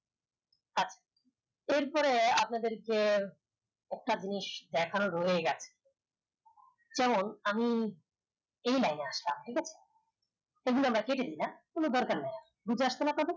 এর পরে আপনাদের কে একটা জিনিস দেখানো রয়ে গেছে যেমন আমি এই লাইনে আসলাম ঠিক আছে এই গুলা আমরা কেটে দিলাম কোন দরকার নেই group এ আসছে না আপনাদের